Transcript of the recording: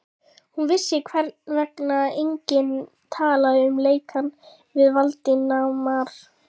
Hún vissi, hvers vegna enginn talaði um lekann við Valdimar.